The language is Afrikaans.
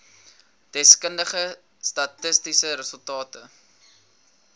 deskundige statistiese resultate